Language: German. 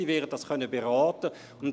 Sie werden es beraten können.